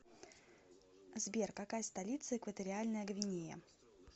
сбер какая столица экваториальная гвинея